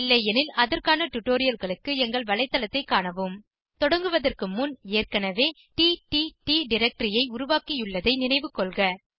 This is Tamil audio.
இல்லையெனில் அதற்கான டுடோரியல்களுக்கு எங்கள் வலைத்தளத்தைக் காணவும் தொடங்குவதற்கு முன் ஏற்கனவே டிடிடி டைரக்டரி ஐ உருவாக்கியுள்ளதை நினைவுகொள்க